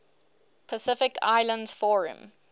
pacific islands forum